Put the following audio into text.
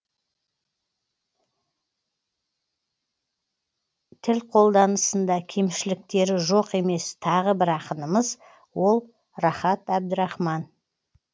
тіл қолданысында кемшіліктері жоқ емес тағы бір ақынымыз ол рахат әбдірахман